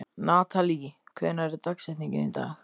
Natalí, hver er dagsetningin í dag?